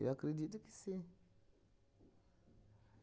Eu acredito que sim.